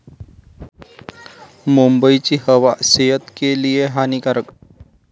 मुंबईची हवा सेहत के लिए हानीकारक!